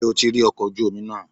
Ṣé o ti rí ọkọ̀ ojú omi náà?